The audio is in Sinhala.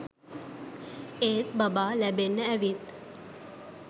ඒත් බබා ලැබෙන්න ඇවිත්